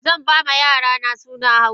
Zanba ma yarana sunan hausa.